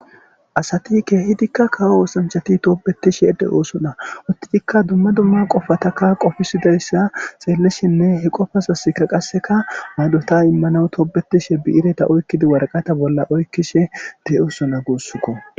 Asati kehiddika kawo othanchati tobetishe de'ossona uttidika dumma dumma qoffataka qoffisidayssa xellishenne he qoffazasika qasseka payddota immanawu tobbetishe bi'iretta oykkidi waraqqata bolla oykishshe de'ossona gussuko.